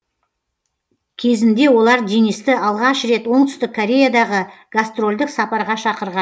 кезінде олар денисті алғаш рет оңтүстік кореядағы гастрольдік сапарға шақырған